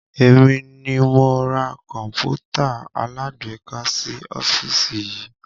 Èmi ni mo ra Kọ̀npútà alágbéká sì ọ́fíìsì yii